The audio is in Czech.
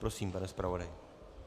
Prosím, pane zpravodaji.